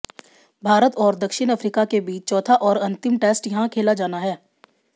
भारत और दक्षिण अफ्रीका के बीच चौथा और अंतिम टेस्ट यहां खेला जाना है